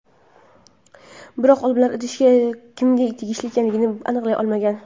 Biroq olimlar idish kimga tegishli ekanligini aniqlay olmagan.